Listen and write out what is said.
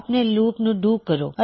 ਆਪਣੇ ਲੂਪ ਨੂੰ ਡੂ ਕਰੋ